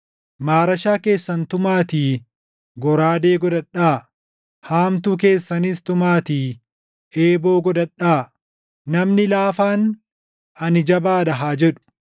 Maarashaa keessan tumaatii goraadee godhadhaa; haamtuu keessanis tumaatii eeboo godhadhaa. Namni laafaan, “Ani jabaa dha!” haa jedhu.